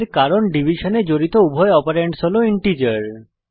এর কারণ ডিভিশনে জড়িত উভয় অপারেন্ডস হল ইন্টিজার